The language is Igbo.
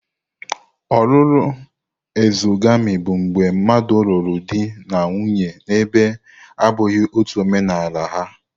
Ọlụlụ exogami bụ mgbe mmadụ lụrụ di na nwunye na ebe na-abụghị ọtú omenaala ha.